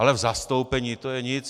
Ale v zastoupení, to je nic.